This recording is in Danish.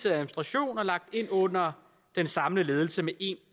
administration og lagt ind under den samlede ledelse med en